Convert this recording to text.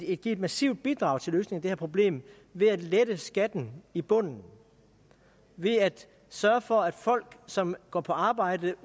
kan give et massivt bidrag til at løse det her problem ved at lette skatten i bunden ved at sørge for at folk som går på arbejde